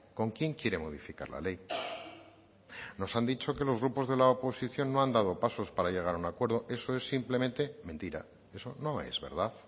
con quién quiere modificar la ley nos han dicho que los grupos de la oposición no han dado pasos para llegar a un acuerdo eso es simplemente mentira eso no es verdad